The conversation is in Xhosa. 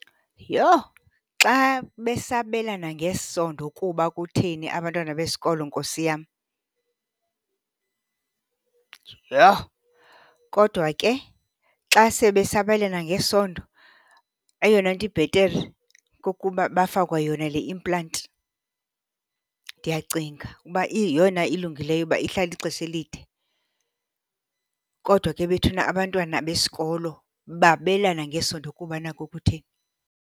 Yho! Xa besabelana ngesondo kuba kutheni abantwana besikolo Nkosi yam? Yho! Kodwa ke xa sebesabelana ngesondo eyona nto ibhetere kukuba bafakwe yona le implant. Ndiyacinga ukuba yeyona ilungileyo kuba ihlala ixesha elide. Kodwa ke bethuna abantwana besikolo babelana ngesondo kuba nako kutheni?